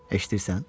Eşidirsən?